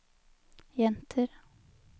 jenter